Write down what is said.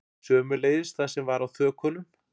Sömuleiðis það sem var á þökunum